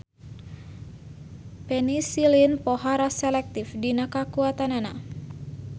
Penisilin pohara selektif dina kakuatanana.